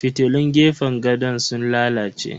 Fitilun gefen gadon sun lalace.